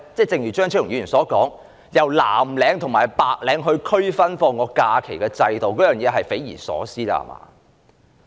正如張超雄議員所說，以藍領和白領作假期區分是匪夷所思的制度。